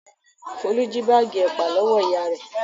Folú jí báágì ẹ̀pà lọ́wọ́ ìyá rẹ̀.